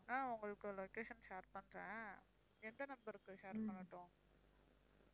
ஆஹ் உங்களுக்கு location share பண்றேன் எந்த number க்கு share பண்ணட்டும்?